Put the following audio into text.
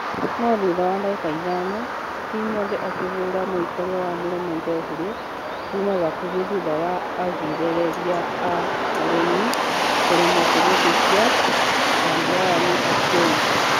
No thutha wa dagĩka ithano , timothy akĩhũra mũikarĩa wa mũromo jeoffrey kuma hakuhĩ thutha wa agirereria a ageni kũremwo kũhetokia .....ya brian achieng.